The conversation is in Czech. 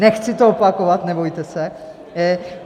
Nechci to opakovat, nebojte se.